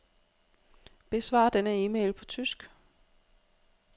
Besvar denne e-mail på tysk.